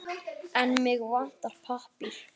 En mig vantar pappír.